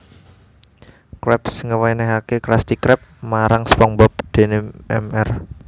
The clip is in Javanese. Krabs ngewenehake Krusty Krab marang SpongeBob dene Mr